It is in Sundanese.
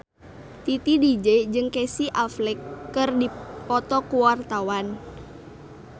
Titi DJ jeung Casey Affleck keur dipoto ku wartawan